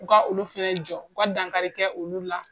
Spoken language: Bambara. U ka olu fana jɔ u ka dankari kɛ olu la